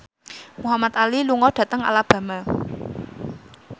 Muhamad Ali lunga dhateng Alabama